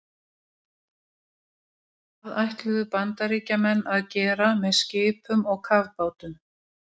Hjartagallar eru algengir og einnig er há tíðni andvana fæðinga og ungbarnadauða.